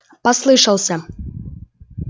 послышался